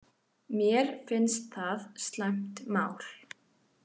Mér finnst það slæmt mál